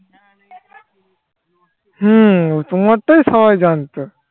হম তোমারটাই সবাই জানতো